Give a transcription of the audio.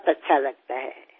చాలా బాగా అనిపిస్తుంది